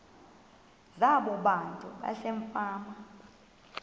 zabo abantu basefama